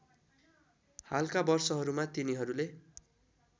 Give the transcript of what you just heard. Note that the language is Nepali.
हालका वर्षहरूमा तिनीहरूले